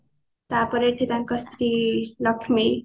ତାପରେ ଏଠି ତାଙ୍କ ସ୍ତ୍ରୀ ଲକ୍ଷ୍ମୀ